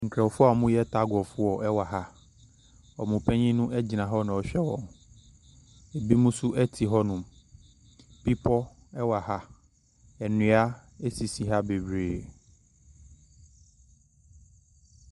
Nkurɔfoɔ a wɔreyɛ tag of war wɔ ha. Wɔn panin no gyina hɔ na ɔrehwɛ wɔn. Ebinom nso te hɔnom. Bepɔ wɔ ha, nnua sisi ha bebree.